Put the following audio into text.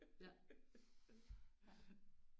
Ja ja